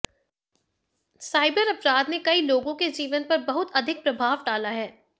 cyber अपराध ने कई लोगों के जीवन पर बहुत अधिक प्रभाव डाला है